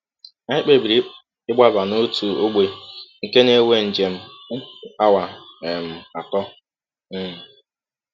“ Anyị kpebiri ịgbaba n’ọtụ ọgbe nke na - ewe njem ụkwụ awa um atọ um. um